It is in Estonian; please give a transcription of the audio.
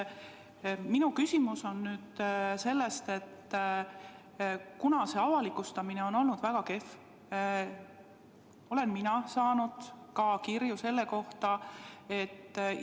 Minu küsimus lähtub nüüd sellest, et kuna avalikustamine on olnud väga kehv, siis olen ka mina saanud selle kohta kirju.